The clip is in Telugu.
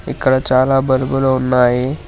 ఇక్కడ చాలా బల్బులు ఉన్నాయి.